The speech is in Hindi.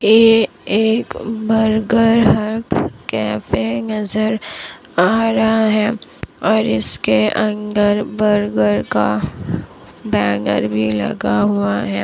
ये एक बर्गर हट कैफे नजर आ रहा है और इसके अंदर बर्गर का बैनर भी लगा हुआ है।